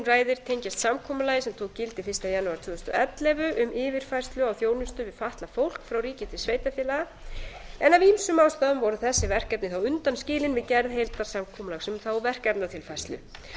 ræðir tengjast samkomulagi sem tók gildi fyrsta janúar tvö þúsund og ellefu um yfirfærslu á þjónustu við fatlað fólk frá ríki til sveitarfélaga en af ýmsum ástæðum voru þessi verkefni þá undanskilin við gerð heildarsamkomulags um þá verkefnatilfærslu